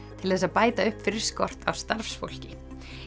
til þess að bæta upp fyrir skort á starfsfólki